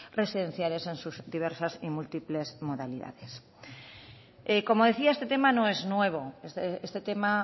residenciales en sus diversas y múltiples modalidades como decía este tema no es nuevo este tema